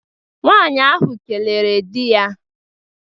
Nwaanyi ahụ kelere di ya